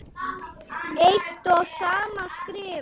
eitt og sama skrifa